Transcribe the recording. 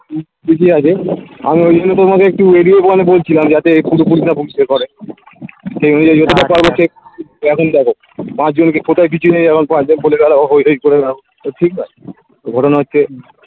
উম আমি ঐজন্য তোমাকে একটু video call এ বলছিলাম যাতে এই পুরোপুরিটা বুঝতে পারে তো তো এখন দেখো পাঁচ জনকে কোথাও কিছু নেই এখন পাঁচ জন বলে বেড়াও হই হই করে বেড়াও তো ঠিক নয় ঘটনা হচ্ছে